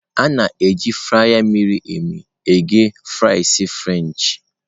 A na-eji frya miri emi eghe frasị frenchị.